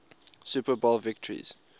super bowl victories